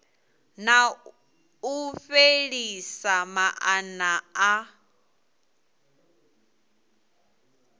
na u fhelisa maana a